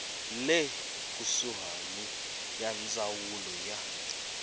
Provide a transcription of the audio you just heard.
le kusuhani ya ndzawulo ya